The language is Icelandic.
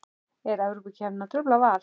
Er Evrópukeppnin að trufla Val?